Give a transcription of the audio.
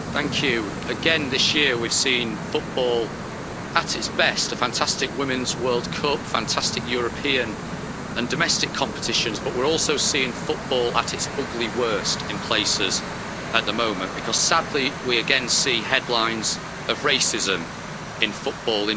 Madam President, this year we've seen football at its best a fantastic Women's World Cup and fantastic European and domestic competitions, but we're also seeing football at its ugly worst in places at the moment because, sadly, we again see headlines of racism in football.